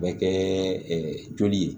Bɛ kɛ joli ye